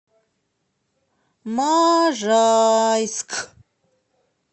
можайск